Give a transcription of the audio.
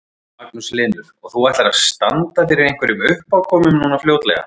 Magnús Hlynur: Og þú ætlar að standa fyrir einhverjum uppákomum núna fljótlega?